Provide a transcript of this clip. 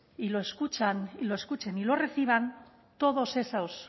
y lo escuchen y lo reciban todos esos